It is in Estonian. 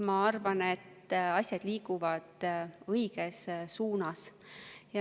Ma arvan, et asjad liiguvad õiges suunas.